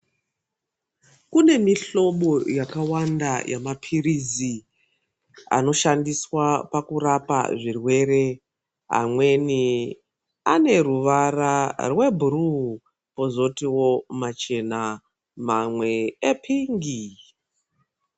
Kune mihlobo yakawanda yemaphirizi anoshandiswa pakurapa zvirwere amweni aneruvara rwebhuruu kwozotiwo machena mamwe epingi.